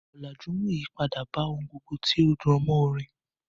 Ọ̀làjú mú ìyípadà bá ohun gbogbo tí ó rọ̀mọ́ orin.